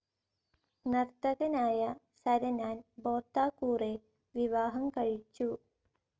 നർത്തകനായ സരനാൻ ബോർതാക്കൂറെ വിവാഹം കഴിച്ചു.